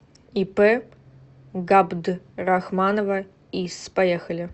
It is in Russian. ип габдрахманова ис поехали